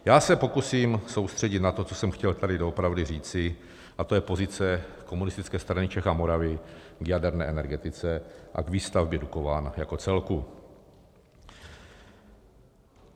Já se pokusím soustředit na to, co jsem chtěl tady doopravdy říci, a to je pozice Komunistické strany Čech a Moravy k jaderné energetice a k výstavbě Dukovan jako celku.